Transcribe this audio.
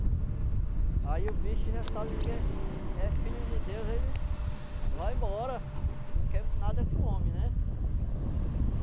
Aí o bicho já sabe que é é filho de Deus, ele vai embora, não quer nada com o homem, né?